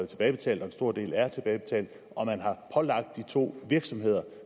tilbagebetalt og en stor del er tilbagebetalt og man har pålagt de to virksomheder